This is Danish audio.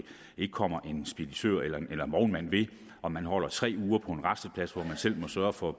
ikke kommer en speditør eller en vognmand ved om man holder tre uger på en rasteplads og man selv må sørge for